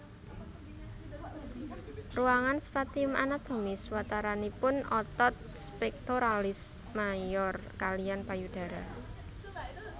Ruangan spatium anatomis wataranipun otot pectoralis major kaliyan payudara